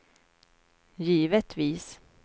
givetvis